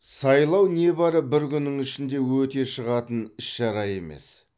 сайлау небәрі бір күннің ішінде өте шығатын іс шара емес